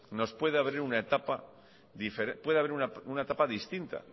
pueda abrir una etapa distinta